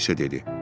O isə dedi.